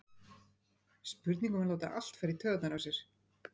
Spurning um að láta allt fara í taugarnar á sér?